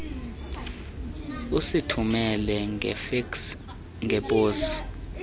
usithumele ngefeksi ngeposi